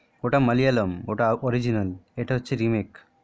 ওটা মালিয়ালাম ওটা হচ্ছে original এটা হচ্ছে remake